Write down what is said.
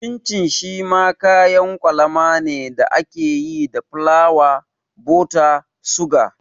Cin cin shi ma kayan kwalama ne da ake yi da fulawa, buta, suga